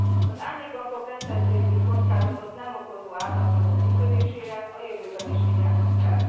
Az árnyékbankok rendszerszintű kockázatot nem okozó átlátható működésére a jövőben is figyelnünk kell.